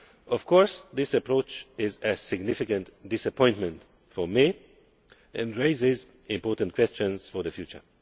Of course this approach is a significant disappointment for me and raises important questions for the future.